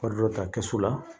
Wari dɔ ta kɛsu la